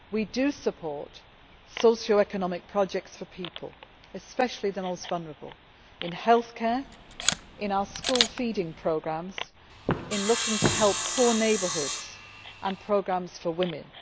We do support socio economic projects for people, especially the most vulnerable, in healthcare, in our school feeding programmes, in looking to help poor neighbourhoods and programmes for women.